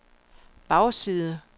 bagside